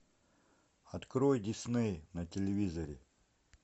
открой дисней на телевизоре